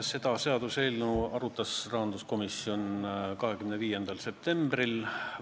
Seda seaduseelnõu arutas rahanduskomisjon 25. septembril.